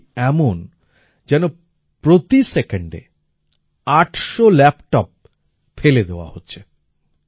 এটি এমন যেন প্রতি সেকেন্ডে আটশো ল্যাপটপ ফেলে দেওয়া হচ্ছে